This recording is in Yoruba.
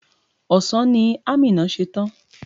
Ọ̀sán ni Amina ṣe tán.